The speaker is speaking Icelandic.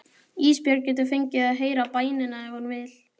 Ísbjörg getur fengið að heyra bænina ef hún vill.